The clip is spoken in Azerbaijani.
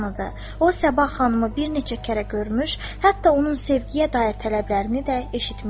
O Səbah xanımı bir neçə kərə görmüş, hətta onun sevgiyə dair tələblərini də eşitmişdi.